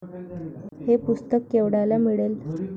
हे पुस्तक केवढ्याला मिळेल?